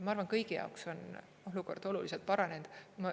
Ma arvan, kõigi jaoks on olukord oluliselt paranenud.